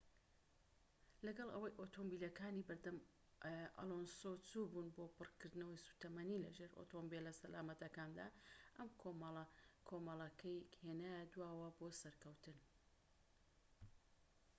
لەگەڵ ئەوەی ئۆتۆمبیلەکانی بەردەم ئەلۆنسۆ چووبوون بۆ پڕکردنەوەی سوتەمەنی لەژێر ئۆتۆمبیلە سەلامەتەکەدا ئەم کۆمەڵەکەی هێنایە دواوە بۆ سەرکەوتن